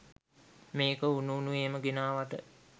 මේක උණු උණුවේම ගෙනාවට.